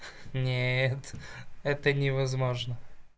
нет это невозможно